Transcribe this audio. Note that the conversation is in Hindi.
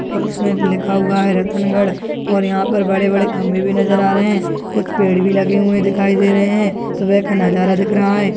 और उसमे लिखा हुआ है रतनगढ़ और यहां पर बड़े बड़े खम्बे भी नज़र आ रहे है कुछ पेड़ भी लगे हुए दिखाई दे रहे है सुबह का नज़ारा दिख रहा है।